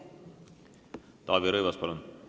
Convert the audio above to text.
Taavi Rõivas, palun!